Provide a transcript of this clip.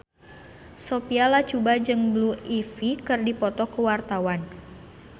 Sophia Latjuba jeung Blue Ivy keur dipoto ku wartawan